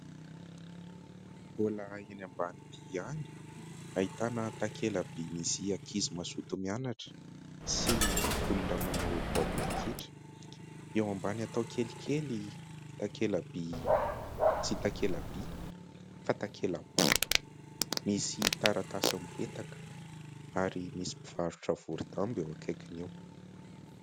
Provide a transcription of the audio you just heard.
Mbola eny ambanidia ihany. Ahitana takela-by misy ankizy mazoto mianatra sy olona manao baolina kitra. Eo ambany atao kelikely takela-by tsy takela-by fa takela-bato misy taratasy mipetaka ary misy mpivarotra voro-damba eo akaiky eo.